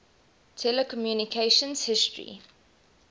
telecommunications history